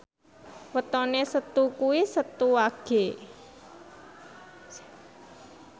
wetone Setu kuwi Setu Wage